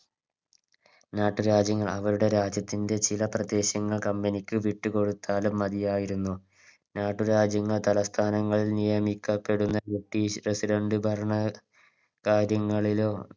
നാട്ടു രാജ്യങ്ങൾ അവരുടെ രാജ്യത്തിൻറെ ചില പ്രദേശങ്ങൾ Company ക്ക് വിട്ടുകൊടുത്താലും മതിയായിരുന്നു നാട്ടുരാജ്യങ്ങൾ തലസ്ഥാനങ്ങൾ നിയോഗിക്കപ്പെടുന്ന British president ഭരണ കാര്യങ്ങളിലും